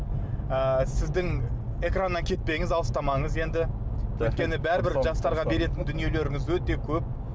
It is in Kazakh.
ы сіздің экраннан кетпеңіз алыстамаңыз енді өйткені бәрібір жастарға беретін дүниелеріңіз өте көп